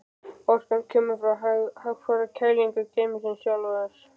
Orkan kemur frá hægfara kælingu geymisins sjálfs.